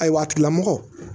Ayiwa a tigila mɔgɔ